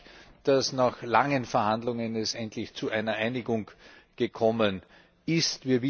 Ich freue mich, dass es nach langen Verhandlungen endlich zu einer Einigung gekommen ist.